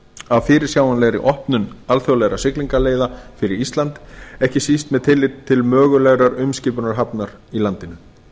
af fyrirsjáanlegri opnun alþjóðlegra siglingaleiða fyrir ísland ekki síst með tilliti til mögulegrar umskipunarhafnar í landinu